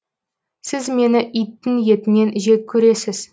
сіз мені иттің етінен жек көресіз